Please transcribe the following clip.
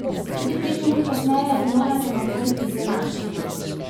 Tudi pet minut kasneje je bilo na semaforju izenačeno.